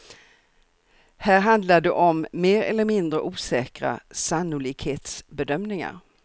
Här handlar det om mer eller mindre osäkra sannolikhetsbedömningar.